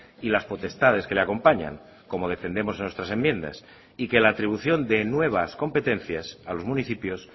y las potestades que le acompañan como defendemos en nuestras enmiendas y que la atribución de nuevas competencias a los municipios